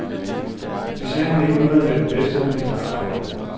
Det sagde ham ikke noget at være den bedste, han ville bare lege.